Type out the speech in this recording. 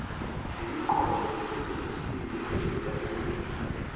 nemiqondo esetshenzisiwe ezitatimendeni